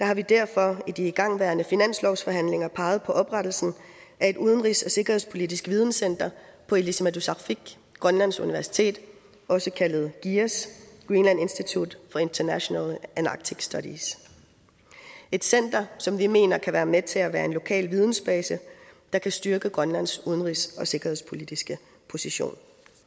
har vi derfor i de igangværende finanslovsforhandlinger peget på oprettelsen af et udenrigs og sikkerhedspolitisk videnscenter på ilisimatusarfik grønlands universitet også kaldet giias greenland institute for international and arctic studies et center som vi mener kan være med til at være en lokal vidensbase der kan styrke grønlands udenrigs og sikkerhedspolitiske position